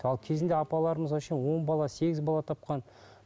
ал кезінде апаларымыз вообще он бала сегіз бала тапқан